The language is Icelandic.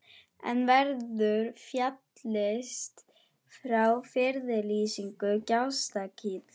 En verður fallist á friðlýsingu Gjástykkis?